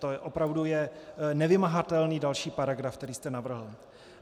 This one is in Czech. To je opravdu nevymahatelný další paragraf, který jste navrhl.